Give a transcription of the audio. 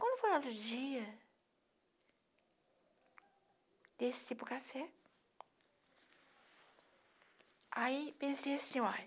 Quando foi no outro dia desse tipo de café, aí pensei assim, olha